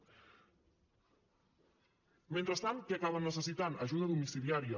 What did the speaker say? mentrestant què acaben necessitant ajuda domiciliària